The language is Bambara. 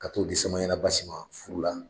Ka t'o di samayana Basi ma furu la